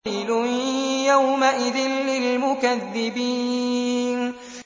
وَيْلٌ يَوْمَئِذٍ لِّلْمُكَذِّبِينَ